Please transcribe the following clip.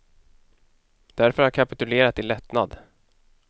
Därför har jag kapitulerat i lättnad.